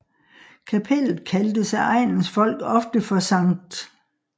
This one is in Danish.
Kapellet kaldtes af egnens folk ofte for Sct